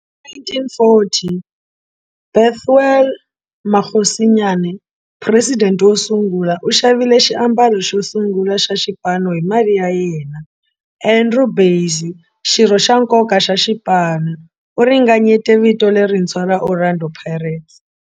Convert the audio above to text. Hi 1940, Bethuel Mokgosinyane, president wo sungula, u xavile xiambalo xo sungula xa xipano hi mali ya yena. Andrew Bassie, xirho xa nkoka xa xipano, u ringanyete vito lerintshwa ra 'Orlando Pirates'.